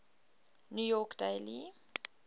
new york daily